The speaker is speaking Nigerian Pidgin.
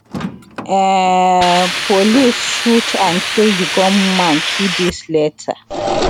um police shoot and kill di gunman two days later